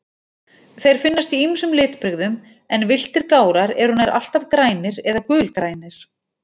Þeir finnast í ýmsum litbrigðum, en villtir gárar eru nær alltaf grænir eða gulgrænir.